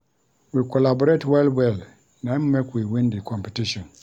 We collaborate well-well, na im make we win di competition.